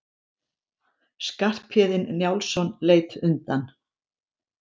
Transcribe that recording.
Skarphéðinn Njálsson leit undan.